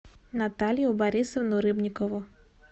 наталью борисовну рыбникову